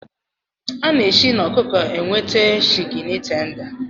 enweta Shịkịni tenda